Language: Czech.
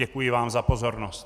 Děkuji vám za pozornost.